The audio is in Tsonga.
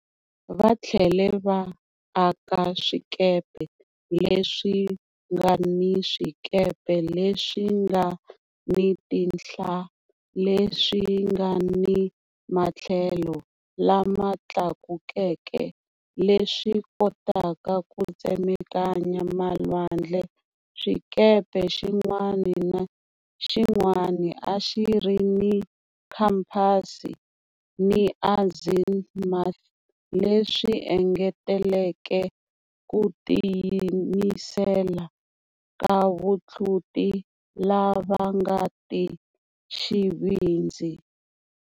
Va tlhele va aka swikepe leswi nga ni swikepe leswi nga ni tinhla leswi nga ni matlhelo lama tlakukeke, leswi kotaka ku tsemakanya malwandle, xikepe xin'wana ni xin'wana a xi ri ni khampasi ni azimuth, leswi engeteleke ku tiyimisela ka vatluti lava nga ti xivindzi.